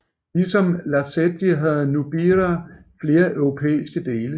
Ligesom Lacetti havde Nubira flere europæiske dele